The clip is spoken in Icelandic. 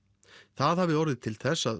það hafi orðið til þess að